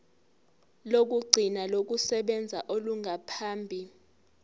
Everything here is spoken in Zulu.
lokugcina lokusebenza olungaphambi